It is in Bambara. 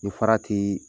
Ni farati